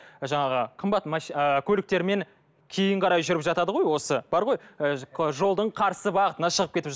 жаңағы қымбат ыыы көліктермен кейін қарай жүріп жатады ғой осы бар ғой ы жолдың қарсы бағытына шығып кетіп